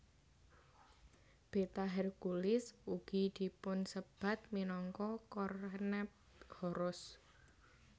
Beta Herculis ugi dipunsebat minangka Kornephoros